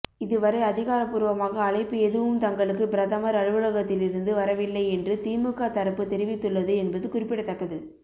இதுவரை அதிகாரபூர்வமாக அழைப்பு எதுவும் தங்களுக்கு பிரதமர் அலுவலகத்தில் இருந்து வரவில்லை என்று திமுக தரப்பு தெரிவித்துள்ளது என்பது குறிப்பிடத்தக்கது